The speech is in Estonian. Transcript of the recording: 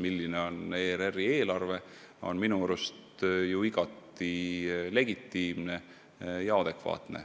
milline on ERR-i eelarve, on minu arust igati legitiimne ja adekvaatne.